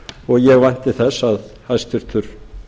og ég vænti þess að hæstvirtur